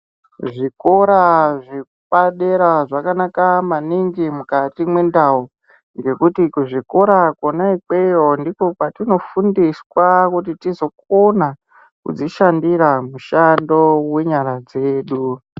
Zvikora zvepadera zvakanaka maningi mukati mwendau ngekuti kuzvikora kona ikweyo ndiko kwatinofundiswa kuti tizokona kudzishandira mushando wenyara dzedu.